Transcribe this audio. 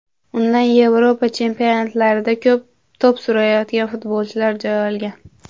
Undan Yevropa chempionatlarida to‘p surayotgan futbolchilar joy olgan.